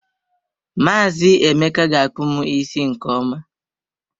Maazi Emeka ga akpu m isi nke ọma.